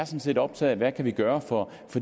set optaget af hvad vi kan gøre for